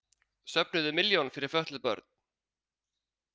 Söfnuðu milljón fyrir fötluð börn